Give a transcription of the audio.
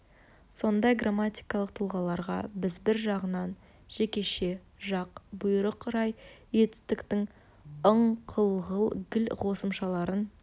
сондай грамматикалық тұлғаларға біз бір жағынан жекеше жақ бұйрық рай етістіктің ың қыл ғыл гіл қосымшаларын